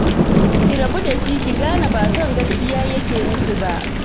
Ki rabu da shi, ki gane ba son gaskiya yake miki ba